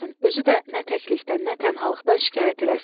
Özü də nə təklikdən, nə tənhalıqdan şikayət eləsin.